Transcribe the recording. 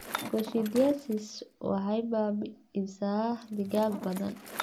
Coccidiosis waxay baabi'isaa digaag badan.